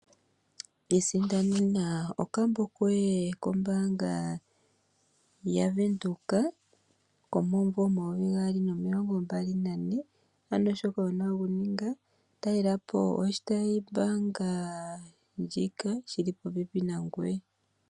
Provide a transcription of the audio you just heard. Isindanena okambo koye kombaanga ya Venduka komomumvo omayovi gaali nomilongo mbali nane. Ano shoka wuna okuninga, talelapo oshitayi mbaanga sho mbaanga ndjika shili popepi nangoye.